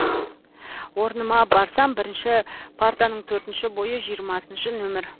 орныма барсам бірінші партаның төртінші бойы жиырмасыншы нөмір